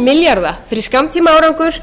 milljarða fyrir skammtímaárangur